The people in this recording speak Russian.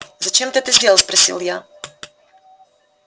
зачем ты это сделал спросил я